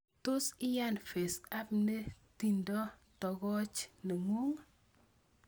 Tos iyan FaceApp ne tindo togoch nengung?